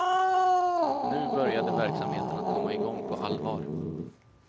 Nu började verksamheten att komma igång på allvar.